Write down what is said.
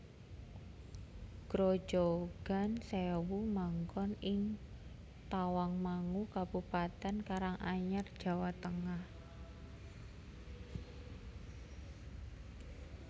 Grojogan Sèwu manggon ing Tawangmangu Kabupatèn Karanganyar Jawa Tengah